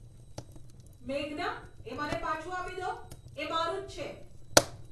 મેઘના, તે મને પાછું આપી દો. એ મારું જ છે!